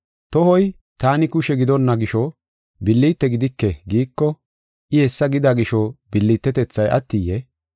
Tohoy, “Taani kushe gidonna gisho billite gidike” giiko, I hessa gida gisho billitetethay attiyee?